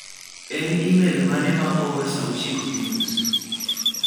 En emel mane ma oor saa ochiko gi nus?